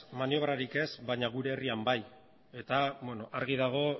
maniobrarik ez baina gure herrian bai eta argi dago